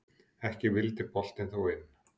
Ekki vildi boltinn þó inn.